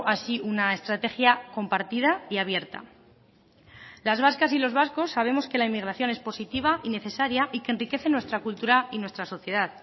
así una estrategia compartida y abierta las vascas y los vascos sabemos que la inmigración es positiva y necesaria y que enriquece nuestra cultura y nuestra sociedad